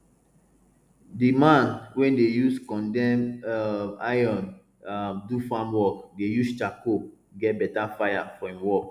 di man wey dey use condemn um iron um do farm work dey use charcoal get better fire for em work